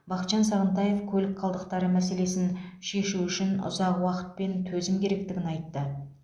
бақытжан сағынтаев көлік қалдықтары мәселесін шешу үшін ұзақ уақыт пен төзім керектігін айтты